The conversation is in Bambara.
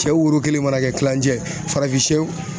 Cɛ woro kelen mana kɛ kilancɛ ye farafinsɛw